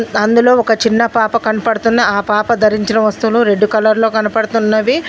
అందులో ఒక చిన్న పాప కన్పడుతున్న ఆ పాప ధరించిన వస్తువులు రెడ్డు కలర్లో కనపడుతున్నవి.